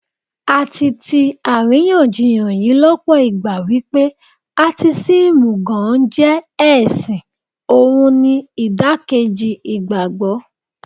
A ti tí àríyànjiyàn yí lọ́pọ̀ ìgbà wípé Átísímù gan-an jẹ́ ẹ̀sìn, ohun ni ìdàkejì ìgbàgbọ́.